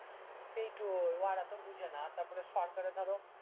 সেইটাই ওরা তো বুঝে না তারপরে সরকারে ধরো